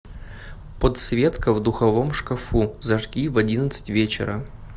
подсветка в духовом шкафу зажги в одиннадцать вечера